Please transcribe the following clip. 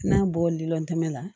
N'a bɔ liltɛmɛ la